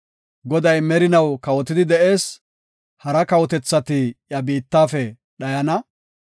Goday merinaw kawotidi de7ees; hara kawotethati iya biittafe dhayana.